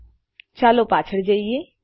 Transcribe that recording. ઓહ ચાલો પાછળ જઈએ